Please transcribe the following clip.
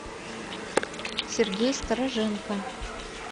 сергей стороженко